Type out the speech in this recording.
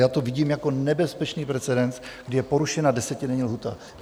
Já to vidím jako nebezpečný precedens, kdy je porušena desetidenní lhůta.